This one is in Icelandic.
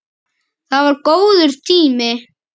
Það var góður tími.